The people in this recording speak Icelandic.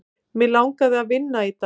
Mig langaði að vinna í dag.